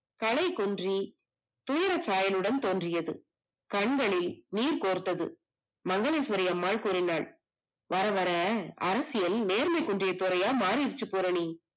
தலைகொன்றி துயரசாயலுடன் தோன்றியது, கண்களை நீர் கோர்த்தது, மங்களேஸ்வரிஅம்மாள் கூறினால் வர வர அரசியல் நேர்மை குன்றிய துறையா மாறிடிச்சு பூரணி